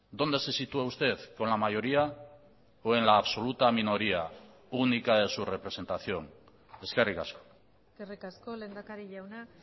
dónde se sitúa usted con la mayoría o en la absoluta minoría única en su representación eskerrik asko eskerrik asko lehendakari jauna